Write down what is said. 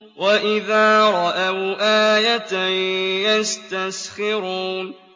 وَإِذَا رَأَوْا آيَةً يَسْتَسْخِرُونَ